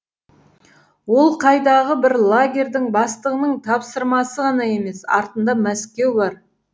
ол қайдағы бір лагердің бастығының тапсырмасы ғана емес артында мәскеу бар